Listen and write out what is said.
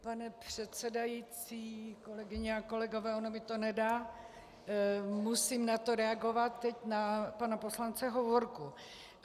Pane předsedající, kolegyně a kolegové, ono mi to nedá, musím na to reagovat, teď na pana poslance Hovorku.